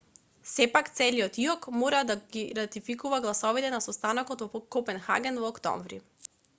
сепак целиот иок мора да ги ратификува гласовите на состанокот во копенхаген во октомври